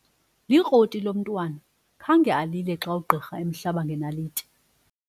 Likroti lo mntwana khange alile xa ugqirha emhlaba ngenaliti.